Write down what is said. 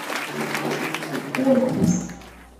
орхус